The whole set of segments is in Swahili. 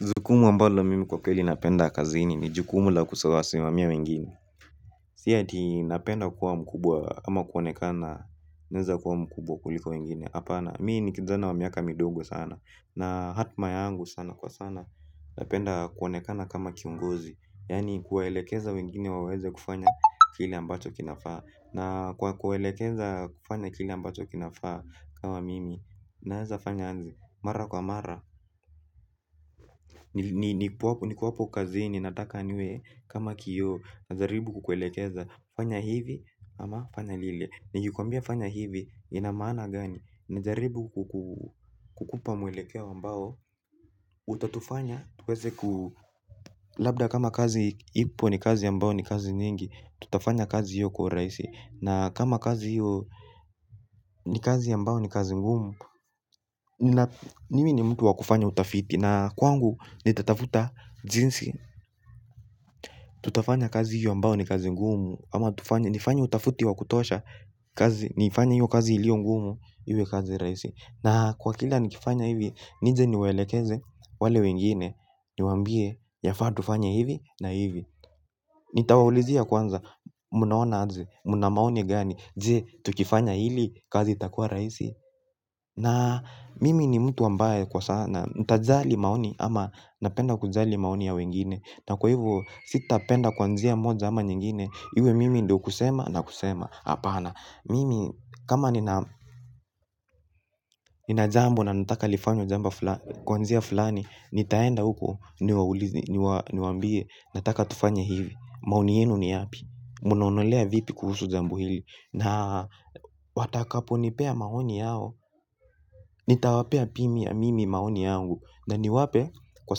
Jukumu ambalo mimi kwa kweli napenda kazini ni jukumu la kusawasi mamia wengine. Si ati napenda kuwa mkubwa ama kuonekana naeza kuwa mkubwa kuliko wengine. Hapana mii ni kijana wa miaka midogo sana. Na hatma yangu sana kwa sana. Napenda kuonekana kama kiongozi. Yani kuwaelekeza wengine waweze kufanya kile ambacho kinafaa. Na kwa kuwaelekeza kufanya kile ambacho kinafaa kama mimi. Naeza fanya aje mara kwa mara. Nikuwapo kazini nataka niwe kama kioo. Najaribu kukuelekeza. Fanya hivi ama fanya lile. Nikikuambia fanya hivi ina maana gani. Najaribu kukupa mwelekeo ambao utatufanya tuweze ku labda kama kazi ipo ni kazi ambayo ni kazi nyingi. Tutafanya kazi hiyo kwa urahisi. Na kama kazi hiyo ni kazi ambayo ni kazi ngumu. Mimi ni mtu wa kufanya utafiti na kwangu nitatafuta jinsi tutafanya kazi hiyo ambayo ni kazi ngumu ama tufanye nifanye utafiti wa kutosha kazi niifanye hiyo kazi iliyo ngumu. Iwe kazi rahisi. Na kwa kila nikifanya hivi. Nije niwaelekeze wale wengine. Niwaambie yafaa tufanye hivi na hivi. Nitawaulizia kwanza. Munaona aje. Muna maoni gani. Je tukifanya hili kazi itakuwa rahisi. Na mimi ni mtu ambaye kwa sana nitajali maoni ama napenda kujali maoni ya wengine. Na kwa hivo sitapenda kwa njia moja ama nyingine. Iwe mimi ndio kusema na kusema. Hapana. Mimi kama nina jambo na nataka lifanywe jambo fulani kwa njia fulani nitaenda huko niwaulize. Niwaambie nataka tufanye hivi maoni yenu ni yapi mnaonelea vipi kuhusu jambo hili na watakaponipea maoni yao. Nitawapea pia mimi maoni yangu. Na niwape kwa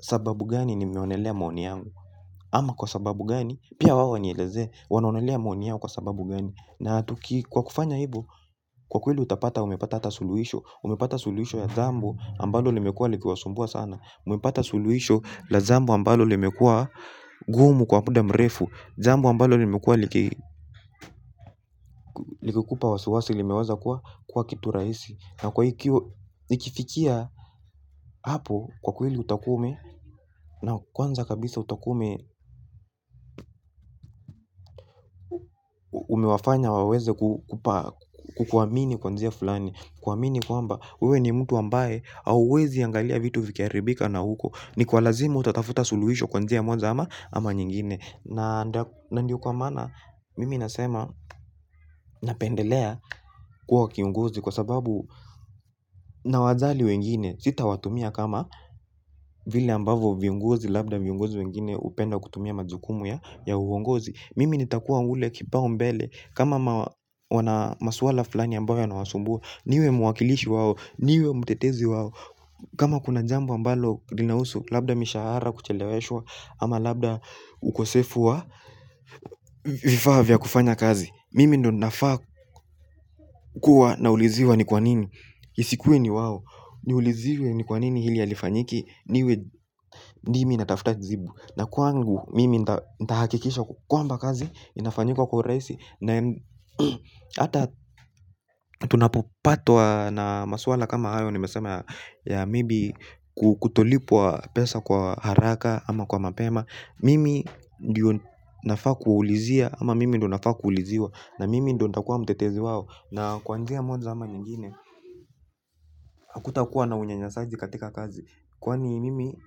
sababu gani nimeonelea maoni yangu. Ama kwa sababu gani, pia wao wanielezee, wanaonelea maoni yao kwa sababu gani. Na tuki kwa kufanya hivyo, kwa kweli utapata umepata hata suluisho. Umepata suluhisho ya jambo ambalo limekuwa likiwasumbua sana. Umepata suluhisho la jambo ambalo limekuwa gumu kwa muda mrefu. Zambo ambalo lemekua likikupa wasiwasi, limeweza kuwa kitu rahisi. Na kwa hikyo nifikia hapo kwa kweli utakuwa ume na kwanza kabisa utakuwa ume umewafanya waweze kukuamini kwa njia fulani. Kuamini kwamba wewe ni mtu ambaye hauwezi angalia vitu vikiharibika na huko. Ni kwa lazima utatafuta suluhisho kwa njia moja ama nyingine. Na ndio kwa maana mimi nasema napendelea kuwa kiongozi kwa sababu nawajali wengine sita watumia kama vile ambavyo viongozi labda viongozi wengine hupenda kutumia majukumu ya uongozi. Mimi nitakuwa ule kipaumbele. Kama wana masuala fulani ambayo yanawasumbua. Niwe mwakilishi wao, niwe mtetezi wao. Kama kuna jambo ambalo linahusu labda mishahara kucheleweshwa. Ama labda ukosefu wa vifaa vya kufanya kazi. Mimi ndo nafaa kuwa nauliziwa ni kwa nini isikuwe ni wao. Niuliziwe ni kwa nini hili halifanyiki. Niwe mimi natafuta jibu. Na kwangu mimi ntahakikisha kwamba kazi, inafanyika kwa urahisi. Hata tunapopatwa na maswala kama hayo nimesema ya maybe kutolipwa pesa kwa haraka ama kwa mapema. Mimi ndio nafaa kuulizia ama mimi ndio nafaa kuuliziwa na mimi ndio nitakuwa mtetezi wao. Na kwa njia moja ama nyingine haku takuwa na unyanyasaji katika kazi. Kwani mimi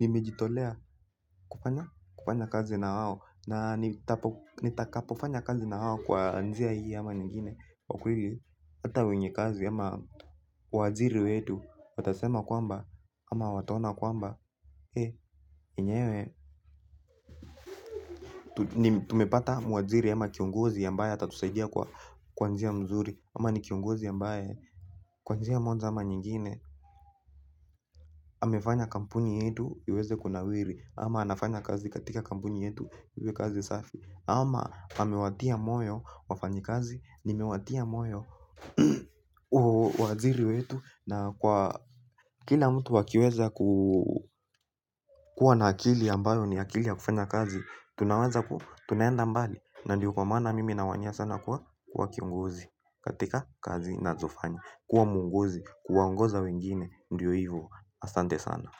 nimejitolea kufanya kazi na wao na nitakapofanya kazi na wao kwa njia hii ama nyingine kwa kweli hata wenye kazi ama waajiri wetu. Watasema kwamba ama watona kwamba he yenyewe. Tuumepata mwajiri ama kiongozi ambaye atatusaidia kwa njia mzuri ama ni kiongozi ambaye kwa njia moja ama nyingine amefanya kampuni yetu iweze kunawiri. Ama anafanya kazi katika kampuni yetu iwe kazi safi. Ama amewatia moyo wafanyi kazi. Nimewatia moyo waziri wetu. Na kwa kila mtu wakiweza kuwa na akili ambayo ni akili ya kufanya kazi. Tunawaza kuwa, tunaenda mbali. Na ndiyo kwa maana mimi nawania sana kuwa kiongozi katika kazi nazofanya. Kuwa mwongozi, kuwaongoza wengine, ndiyo hivo, astante sana.